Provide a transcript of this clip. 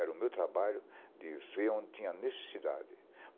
Era o meu trabalho de ver onde tinha necessidade.